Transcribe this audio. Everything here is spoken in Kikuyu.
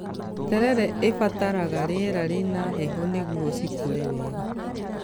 Terere ĩbataraga rĩera rĩna heho nĩguo cikũre wega